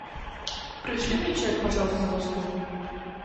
пришли мне чек пожалуйста за услугу